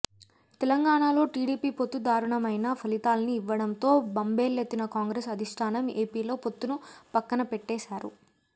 తెలంగాణలో టీడీపీ పొత్తు దారుణమైన ఫలితాల్ని ఇవ్వడంతో బెంబేలెత్తిన కాంగ్రెస్ అధిష్టానం ఏపీలో పొత్తును పక్కనపెట్టేశారు